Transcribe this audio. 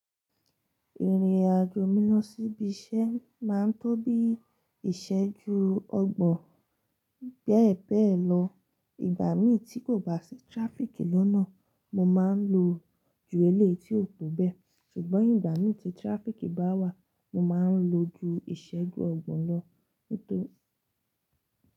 Ìrìn àjò mi lọ sí ibi iṣẹ́ máa ń tó bí ìṣẹ́ju ọgbọ̀n bẹ́ẹ̀ bẹ́ẹ̀ lọ. Ìgbà mi tí kò bá sí tíráfíkì lọ́nà, mo máa ń lo ju eléyì tí ó tó bẹ́ẹ̀ ṣùgbọ́n ìgbà mi tí tíráfíkì bá wà, mo máa ń lo ju ìṣẹ́ju ọgbọ̀n lọ nítorí.